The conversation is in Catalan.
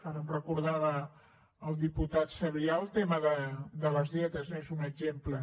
ara em recordava el diputat sabrià el tema de les dietes n’és un exemple